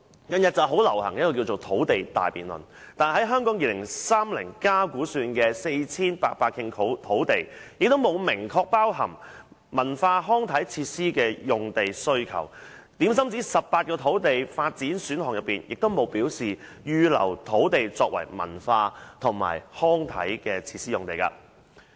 近日流行土地大辯論，但在《香港 2030+》估算的 4,800 公頃土地之中，也沒有明確包含文化康體設施的用地需求；在18個土地發展選項中，也沒有預留土地作為文化及康體設施用地這一項。